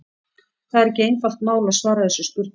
Það er ekki einfalt mál að svara þessum spurningum.